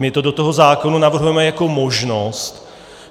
My to do toho zákona navrhujeme jako možnost.